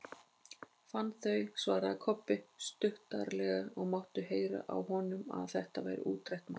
Fann þau, svaraði Kobbi stuttaralega og mátti heyra á honum að þetta væri útrætt mál.